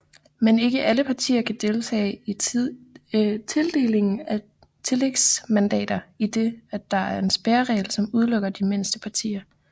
Men ikke alle partier kan deltage i tildelingen af tillægsmandater idet der er en spærreregel som udelukker de mindste partier